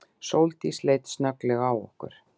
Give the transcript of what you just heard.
Sóldís leit snögglega á okkur.